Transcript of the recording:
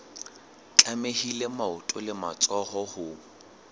tlamehile maoto le matsoho ho